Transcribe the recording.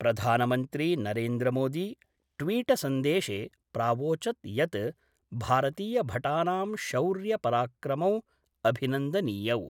प्रधानमंत्री नरेन्द्रमोदी ट्वीटसन्देशे प्रावोचत् यत् भारतीयभटानां शौर्य पराक्रमौ अभिनन्दनीयौ।